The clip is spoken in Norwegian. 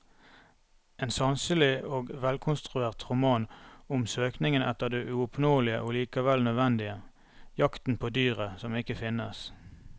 En sanselig og velkonstruert roman om søkingen etter det uoppnåelige og likevel nødvendige, jakten på dyret som ikke finnes.